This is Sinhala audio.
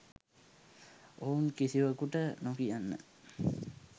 ඔවුන් කිසිවකුට නොකියන්න.